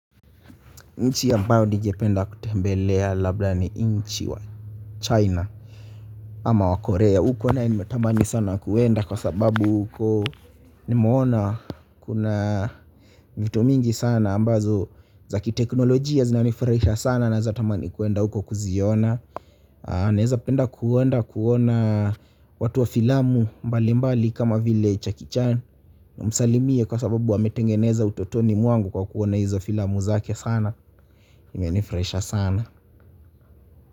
Nchi ambayo ningependa kutembelea labda ni nchi wa China ama wa Korea. Huko nae nimetamani sana kuenda kwa sababu huko nimeona kuna vitu mingi sana ambazo za kiteknolojia zinanifurahisha sana na za tamani kuenda huko kuziona naweza penda kuenda kuona watu wa filamu mbalimbali kama vile Jackie Chan nimsalimie, kwa sababu wametengeneza utoto wangu kwa kuona hizo filamu zake sana. Zimenifurahisha sana.